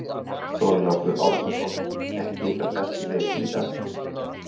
Þorlákur Árnason: Ekki ykkar besti leikur í dag?